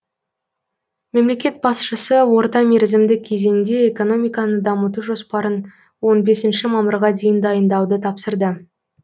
мемлекет басшысы орта мерзімді кезеңде экономиканы дамыту жоспарын он бесінші мамырға дейін дайындауды тапсырды